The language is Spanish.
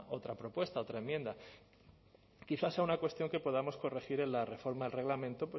otra propuesta otra enmienda quizás sea una cuestión que podamos corregir en la reforma del reglamento